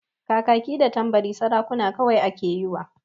Kakaki da Tambari sarukan kawai ake yiwa.